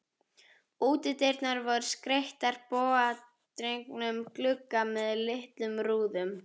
Útidyrnar voru skreyttar bogadregnum glugga með litlum rúðum.